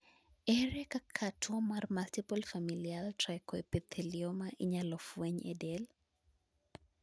ere kaka tuo mar multiple familial trichoepithelioma inyalo fweny e del?